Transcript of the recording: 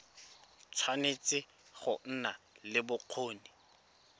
tshwanetse go nna le bokgoni